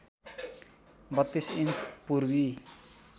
३२ inch Purvi